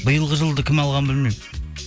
биылғы жылды кім алғанын білмеймін